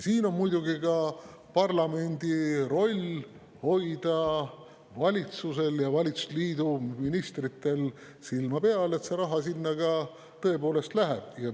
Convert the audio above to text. Siin on muidugi ka parlamendi roll hoida valitsusel ja valitsusliidu ministritel silma peal, et see raha sinna tõepoolest läheks.